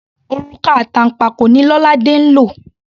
Òrùka àtànpàkò ni Lolade ń lò.